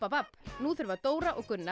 nú þurfa Dóra og Gunnar